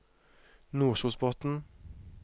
Nordkjosbotn